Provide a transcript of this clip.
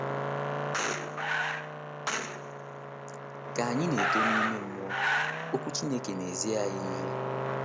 Ka anyị na - eto n’ụzọ ime mmụọ, Okwu Chineke na - ezi anyị ihe.